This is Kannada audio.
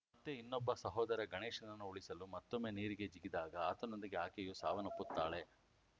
ಮತ್ತೆ ಇನ್ನೊಬ್ಬ ಸಹೋದರ ಗಣೇಶನನ್ನು ಉಳಿಸಲು ಮತ್ತೊಮ್ಮೆ ನೀರಿಗೆ ಜಿಗಿದಾಗ ಆತನೊಂದಿಗೆ ಆಕೆಯೂ ಸಾವನ್ನಪ್ಪುತ್ತಾಳೆ